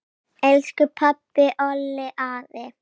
Elsku pabbi, Olli, afi.